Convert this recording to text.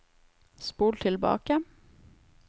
spol tilbake